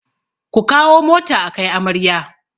Ku kawo mota akai amarya